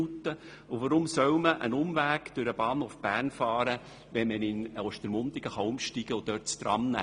Weshalb sollte ein Umweg über den Bahnhof Bern gefahren werden, wenn man in Ostermundigen auf das Tram umsteigen kann?